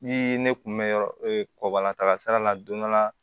Ni ne kun mɛ yɔrɔ kɔkɔla taga sira la don dɔ la